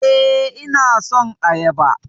Eh, ina son Ayaba